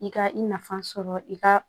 I ka i nafa sɔrɔ i ka